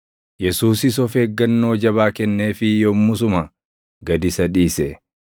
Yesuusis of eeggannoo jabaa kenneefii yommusuma gad isa dhiise.